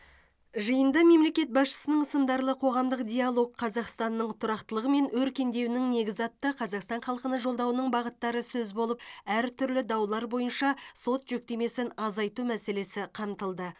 жиында мемлекет басшысының сындарлы қоғамдық диалог қазақстанның тұрақтылығы мен өркендеуінің негізі атты қазақстан халқына жолдауының бағыттары сөз болып әртүрлі даулар бойынша сот жүктемесін азайту мәселесі қамтылды